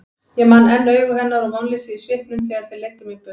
Ég man enn augu hennar og vonleysið í svipnum þegar þeir leiddu mig burt.